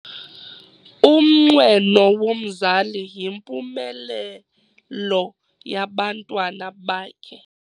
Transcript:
Umnqweno womzali yimpumelelo yabantwana bakhe.